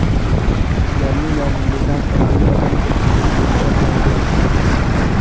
Sizlarning yoningizdan oddiy odam o‘tib ham keta olmaydi”.